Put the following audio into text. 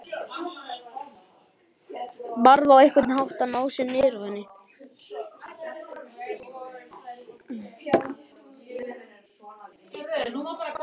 Varð á einhvern hátt að ná sér niðri á henni.